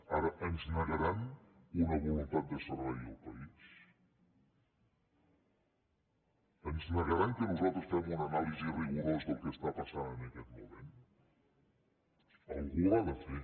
ara ens negaran una voluntat de servei al país ens negaran que nosaltres fem una anàlisi rigorosa del que està passant en aquest moment algú l’ha de fer